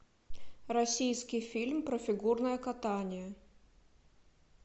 российский фильм про фигурное катание